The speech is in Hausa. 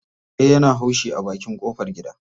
Kare yana haushi a bakin ƙofar gida.